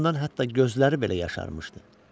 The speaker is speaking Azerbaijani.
Acığından hətta gözləri belə yaşarmışdı.